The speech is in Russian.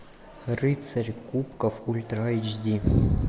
рыцарь кубков ультра эйч ди